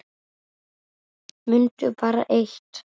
Mundu bara eitt.